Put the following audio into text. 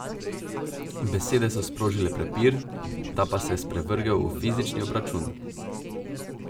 Besede so sprožile prepir, ta pa se je sprevrgel v fizični obračun.